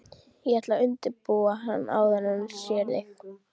Ég ætla að undirbúa hann áður en hann sér þig